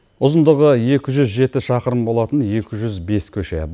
ұзындығы екі жүз жеті шақырым болатын екі жүз бес көше